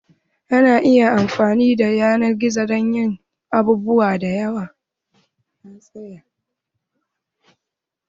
Ana iya amfani da yanar gizo dan yin abubuwa da yawa.